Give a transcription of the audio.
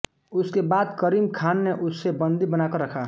उसके बाद करीम ख़ान ने उसे बंदी बनाकर रखा